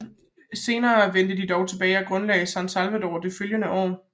Senere vendte de tilbage og grundlagde San Salvador det følgende år